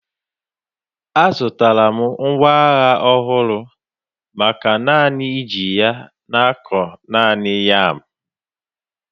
Azụtara m ngwa agha ọhụrụ maka naanị iji ya na-akụ naanị yam